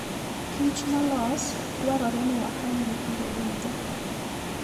Kich molos dwarore ni wakonygi kinde duto.